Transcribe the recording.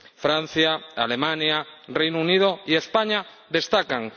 Francia, Alemania, Reino Unido y España destacan.